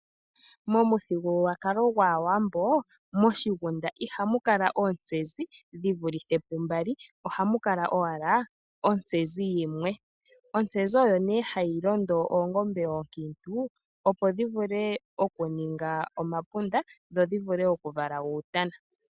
Momuthigululwakalo gwAawambo, moshigunda ihamu kala oontsezi dhi vulithe pu mbali, ohamu kala owala ontsezi yimwe. Ontsezi oyo nee hayi londo oongombe oonkiintu opo dhi vule okuninga omapunda, dho dhi vule okuvala uutana.